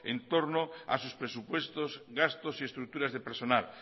en torno a sus presupuestos gastos y estructuras de personal